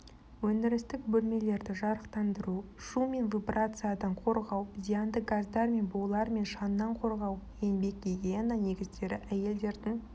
өндірістік бөлмелерді жарықтандыру шу және вибрациядан қорғау зиянды газдар булармен шаңнан қорғау еңбек гигиена негіздері әйелдердің